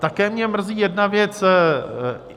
Také mě mrzí jedna věc.